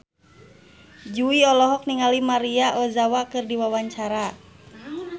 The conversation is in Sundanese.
Jui olohok ningali Maria Ozawa keur diwawancara